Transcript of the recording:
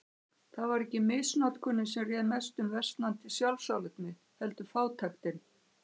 Það var ekki misnotkunin sem réð mestu um versnandi sjálfsálit mitt, heldur fátæktin.